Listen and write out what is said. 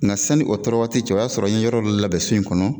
Nka sanni o tɔɔrɔ waati cɛ o y'a sɔrɔ an ye yɔrɔ dɔ labɛn so in kɔnɔ.